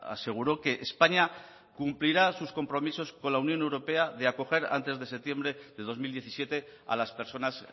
aseguró que españa cumplirá sus compromisos con la unión europea de acoger antes de septiembre de dos mil diecisiete a las personas